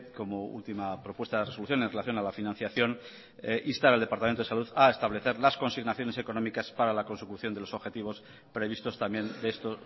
como última propuesta de resolución en relación a la financiación instar al departamento de salud a establecer las consignaciones económicas para la consecución de los objetivos previstos también de esto